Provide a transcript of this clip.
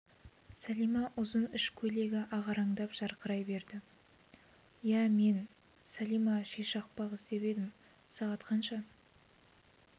сәлима ұзын іш көйлегі ағараңдап жақындай берді иә мен сәлима ши шақпақ іздеп едім сағат қанша